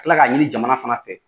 kila k'a ɲini jamana fana fɛ.